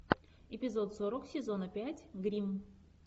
эпизод сорок сезона пять гримм